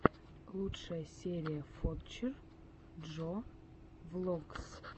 лучшая серия фэтчер джо влогс